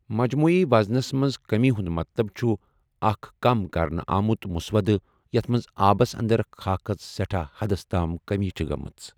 مجموعی وزنَس منٛز کٔمِی ہُنٛد مطلب چھُ اکھ کم کرنہٕ آمُت مُسوَدٕ یتھ منٛز آبَس انٛدر خاکَس سیٹھاہ حدس تام کٔمِی چھِ گٔمٕژ۔